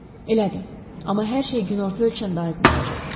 Elədir, amma hər şey günorta ölçəndə aydın olacaq.